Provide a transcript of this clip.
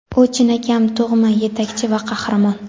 U chinakam tug‘ma yetakchi va qahramon;.